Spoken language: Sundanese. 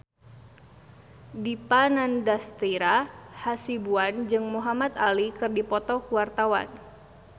Dipa Nandastyra Hasibuan jeung Muhamad Ali keur dipoto ku wartawan